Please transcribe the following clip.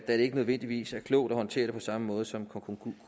det ikke nødvendigvis er klogt at håndtere det på samme måde som